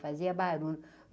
Fazia barulho.